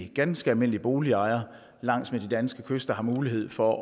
ganske almindelige boligejere langs med de danske kyster har mulighed for